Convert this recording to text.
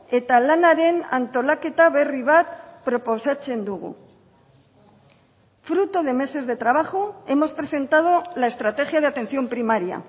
eta lanaren antolaketa berri bat proposatzen dugu fruto de meses de trabajo hemos presentado la estrategia de atención primaria